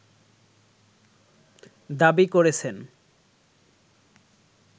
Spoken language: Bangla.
দাবি করেছেন